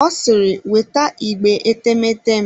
Ọ siri weta igbe etemeete m!